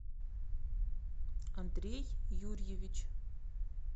андрей юрьевич